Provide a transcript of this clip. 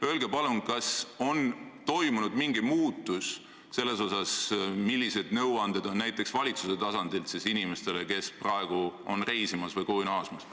Öelge palun, kas on toimunud mingi muutus valitsuse tasandilt antavates nõuannetes inimestele, kes praegu on reisil või koju naasmas.